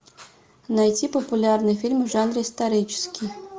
найти популярные фильмы в жанре исторический